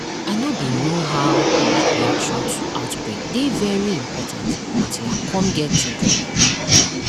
i know bin know how public reaction to outbreak dey very important until i cum get children um